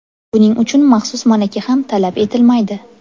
Buning uchun maxsus malaka ham talab etilmaydi.